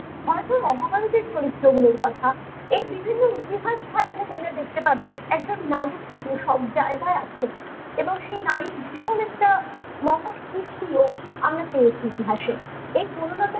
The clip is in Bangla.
হয়তো অভাবন্তি চরিত্রে গুলোর কথা এই বিভিন্ন ইতিহাস ঘটলে তোমরা দেখতে পাবে একজন নারী কিন্তু সব জায়গায় আছে এবং সেই নারীর ভীষণ একটা নাগত কৃতিও আমরা পড়েছি ইতিহাসে এই বনলতা